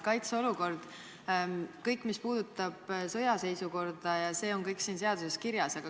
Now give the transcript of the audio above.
Kaitseolukord ja kõik, mis puudutab sõjaseisukorda – see on siin seaduseelnõus kirjas.